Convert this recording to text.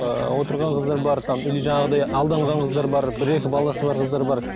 ыыы отырған қыздар бар там или жаңағыдай алданған қыздар бар бір екі баласы бар қыздар бар